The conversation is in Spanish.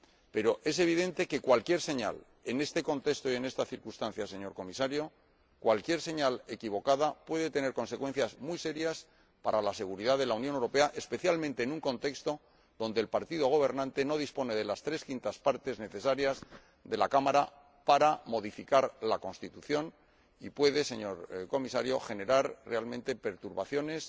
Pero es evidente, señor Comisario, que, en este contexto y en estas circunstancias, cualquier señal equivocada puede tener consecuencias muy serias para la seguridad de la Unión Europea, especialmente cuando el partido gobernante no dispone de las tres quintas partes necesarias en la Cámara para modificar la Constitución, y puede, señor Comisario, generar, realmente, perturbaciones